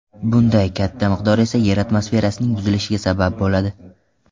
Bunday katta miqdor esa yer atmosferasining buzilishiga sabab bo‘ladi.